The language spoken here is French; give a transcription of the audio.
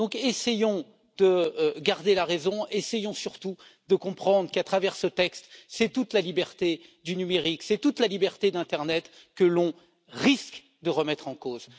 Donc essayons de garder la raison, essayons surtout de comprendre qu'à travers ce texte, c'est toute la liberté du numérique, c'est toute la liberté de l'internet que l'on risque de remettre en cause.